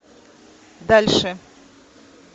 дальше